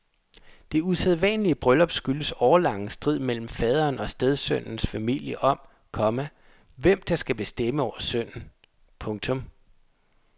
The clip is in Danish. Det usædvanlige bryllup skyldes årelang strid mellem faderen og stedsønnens familie om, komma hvem der skal bestemme over sønnen. punktum